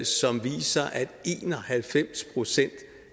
som viser at en og halvfems procent